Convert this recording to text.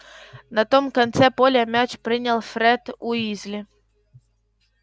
на том конце поля мяч принял фред уизли